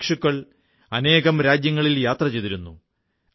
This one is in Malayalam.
ബുദ്ധഭിക്ഷുക്കൾ അനേകം രാജ്യങ്ങളിൽ യാത്ര ചെയ്തിരുന്നു